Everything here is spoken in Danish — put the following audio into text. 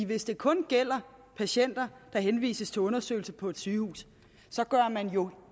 hvis det kun gælder patienter der henvises til undersøgelse på et sygehus så gør man jo